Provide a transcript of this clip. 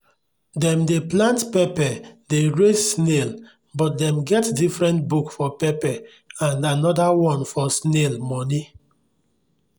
dem dey plant pepper dey raise snail but dem get different book for pepper and another one for snail money.